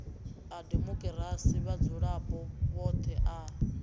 a demokirasi vhadzulapo vhoṱhe a